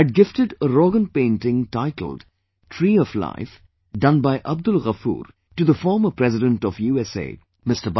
I had gifted a Roganpainting titled 'Tree of Life' done by Abdul Gafoor, to the former President of USA, Mr